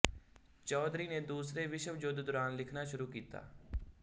ਚੌਧਰੀ ਨੇ ਦੂਸਰੇ ਵਿਸ਼ਵ ਯੁੱਧ ਦੌਰਾਨ ਲਿਖਣਾ ਸ਼ੁਰੂ ਕੀਤਾ